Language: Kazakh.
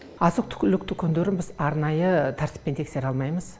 азық түкілік дүкендерін біз арнайы тәртіппен тексере алмаймыз